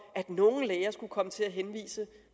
at nogle læger skulle komme til at henvise